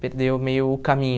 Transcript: Perdeu meio o caminho.